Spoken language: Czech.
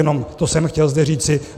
Jenom to jsem zde chtěl říci.